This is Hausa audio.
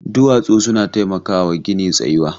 Duwatsu suna taimakawa gini tsayuwa.